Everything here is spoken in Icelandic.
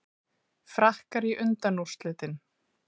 Frakkar í undanúrslitin